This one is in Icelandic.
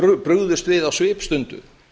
brugðust við á svipstundu